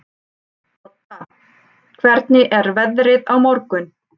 Todda, hvernig er veðrið á morgun?